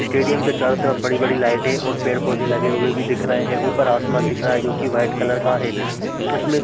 stadium के चारों तरफ बड़े -बड़े लाइटे और पेड़ -पौधे लगे हुए दिख रहे है ऊपर आसमान दिख रहा है जोकि वाइट कलर का है उसमें --